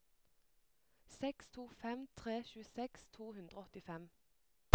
seks to fem tre tjueseks to hundre og åttifem